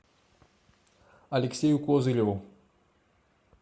алексею козыреву